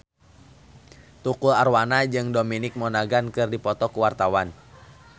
Tukul Arwana jeung Dominic Monaghan keur dipoto ku wartawan